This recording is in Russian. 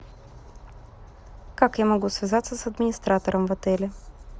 как я могу связаться с администратором в отеле